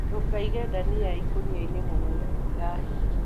Ndũkaige ndania ikũniainĩ mũno citikahĩe.